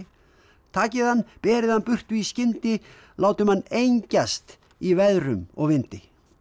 takið hann berið hann burtu í skyndi látum hann engjast í veðrum og vindi